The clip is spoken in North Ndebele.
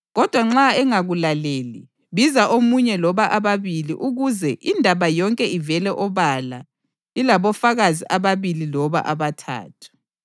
Kodwa nxa engakulaleli, biza omunye loba ababili ukuze ‘indaba yonke ivele obala ilabofakazi ababili loba abathathu.’ + 18.16 UDutheronomi 19.15